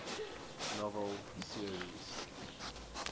novel series